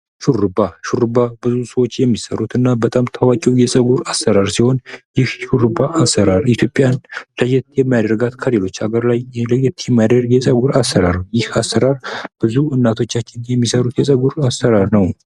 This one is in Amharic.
ሹሩባ ሹሩባ ብዙ ሰዎች የሚሰሩት እና በጣም ታዋቂው የፀጉር አሰራር ሲሆን ይህ ሹሩባ አሰራር ኢትዮጵያን ለየት የሚያደርጋት ከሌሎች ሀገር ላይ ለየት የሚያደርግ የፀጉር አሰራር ይህ አሰራር ብዙ እናቶቻችን የሚሰሩት የፀጉር አሰራር ነው።